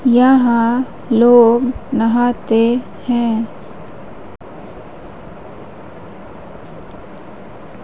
यहां लोग नहाते हैं।